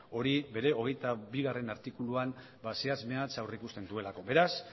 hori bere hogeita bigarrena artikuluan zehatz mehatz aurrikusten duelako beraz